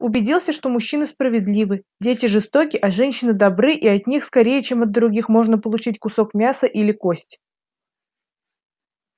убедился что мужчины справедливы дети жестоки а женщины добры и от них скорее чем от других можно получить кусок мяса или кость